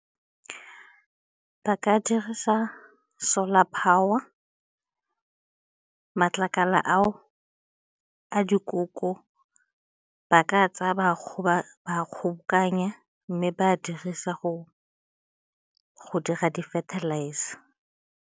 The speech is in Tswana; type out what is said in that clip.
Ba ka dirisa solar power, matlakala ao a dikoko ba ka tsaya ba a kgobokanya mme ba dirisa go dira di-fertilizer.